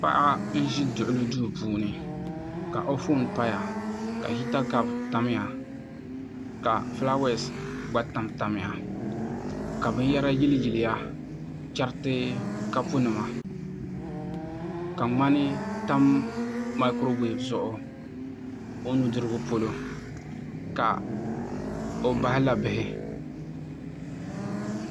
Paɣa n ʒi duɣuli duu puuni ka o foon paya ka hita kaap tamya ka fulaawaasi gba tamtamya ka binyɛra yiliyili ya chɛriti kapu nima ka ŋmani tam maakuro weev zuɣu o nudirigu polo ka o bahi la bihi